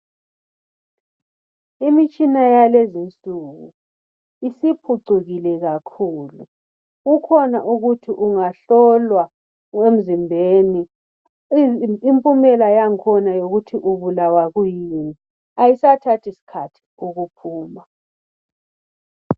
Imtshina yakulezi insuku isiphucukile kakhulu kukhona ukuthi ungahlolwa emzimbeni impumela yakhona yokuthi ubulawa yikuyini ayisathathi sikhathi ukuphuma.